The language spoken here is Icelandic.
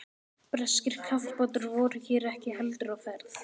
Breskir kafbátar voru hér ekki heldur á ferð.